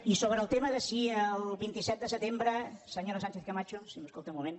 i sobre el tema si el vint set de setembre senyora sánchezcamacho si m’escolta un moment